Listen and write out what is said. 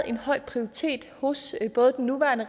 en høj prioritet hos både den nuværende